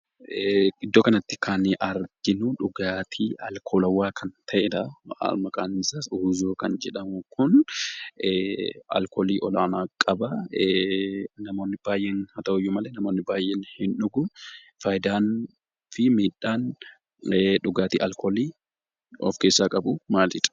Iddoo kanatti kan arginu dhugaatii alkoolawaa kan ta'edha. Maqaan isaas Uuzoo kan jedhamu kun alkoolii olaanaa qaba. Haa ta'uyyuu malee namoonni baay'een ni dhuguu. Fayidaa fi miidhaan dhugaatii alkoolii dhuguu of keessaa qabu maalidhaa?